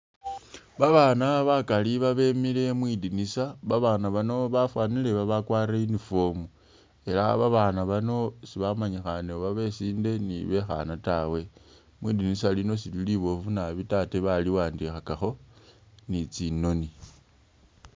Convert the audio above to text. Babaana bakali babemile mwi dinisa, Babaana bano bafwanile babakwarire uniform ela babaana bano sibamanyikhaane oba besinde ni bekhaana tawe. Mwi dinisa lino silili liboofu nabi tawe ate baliwandikhakakho ni tsinoni.